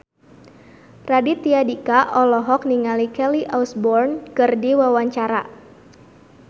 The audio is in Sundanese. Raditya Dika olohok ningali Kelly Osbourne keur diwawancara